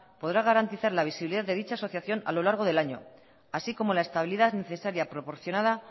podrá garantizar la visibilidad de dicha asociación a lo largo del año así como la estabilidad necesaria proporcionada